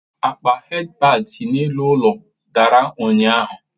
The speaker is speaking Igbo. Akpa headpad si n'elu ụlọ dara ụnyahụ.